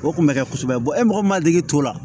O kun bɛ kɛ kosɛbɛ e mɔgɔ min m'a degi t'o la